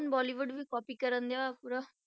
ਹੁਣ ਬੋਲੀਵੁਡ ਵੀ copy ਕਰਨ ਡਿਆ ਵਾ ਪੂਰਾ।